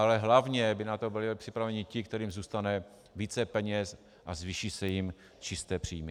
Ale hlavně by na to byli připraveni ti, kterým zůstane více peněz a zvýší se jim čisté příjmy.